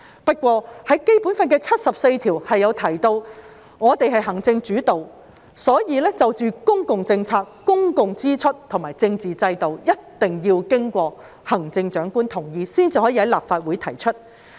不過，《基本法》第七十四條提到行政主導，所以涉及公共政策、公共支出及政治體制的法律草案，一定要經過行政長官同意才可在立法會提出。